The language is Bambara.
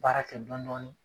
Baara kɛ dɔn dɔnin